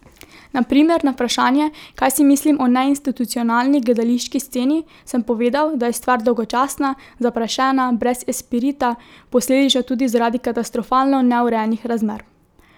Na primer, na vprašanje, kaj si mislim o neinstitucionalni gledališki sceni, sem povedal, da je stvar dolgočasna, zaprašena, brez esprita, posledično tudi zaradi katastrofalno neurejenih razmer.